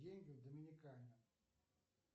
деньги в доминикане